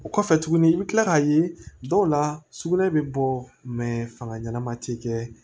O kɔfɛ tuguni i bi kila k'a ye dɔw la sugunɛ bɛ bɔ fanga ɲɛnɛma ti kɛ